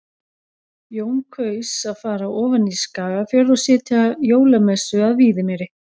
Jón kaus að fara ofan í Skagafjörð og sitja jólamessu að Víðimýri.